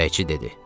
Çörəkçi dedi.